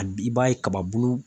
i b'a ye kaba bulu